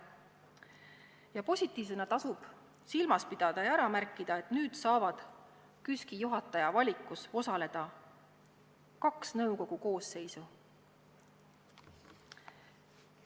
Ja positiivsena tasub silmas pidada ja ära märkida, et nüüd saavad KÜSK-i juhataja valikus osaleda kaks nõukogu koosseisu.